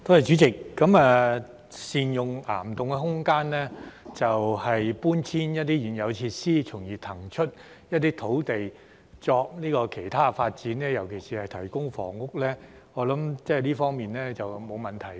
主席，善用岩洞空間，搬遷一些現有設施，從而騰出一些土地作其他發展，尤其是提供房屋，我想這方面是沒有問題的。